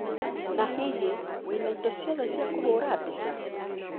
Na hih, wĩna indo ciothe cia kũhũra mbica?